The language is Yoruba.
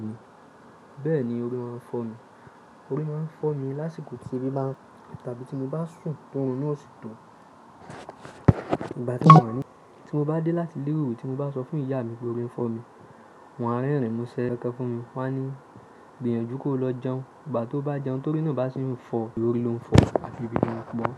Bẹ́ẹ̀ni orí máa ń fọ́ mi. Orí máa ń fọ́ mi lásìkò tí ebí bá ń tàbí tí mo bá sùn tórun náà ò sì tó. Ìgbà tí mo wà ní, tí mo bá dé láti ilé ìwé, tí mo bá sọ fún ìyá mi pé orí ń fọ́ mi, wọ́n á rẹrin múṣẹ́ kan fún mi. Wọn á ní gbìyànjú kó lọ jẹun. Ìgbà tó bá jẹun torí náà bá ṣì ń fọ́, orí ló ń fọ́ tàbí ebi ló ń pa ọ́.